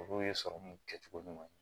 Olu ye sɔrɔmu kɛcogo ɲuman ye